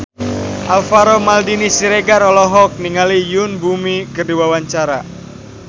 Alvaro Maldini Siregar olohok ningali Yoon Bomi keur diwawancara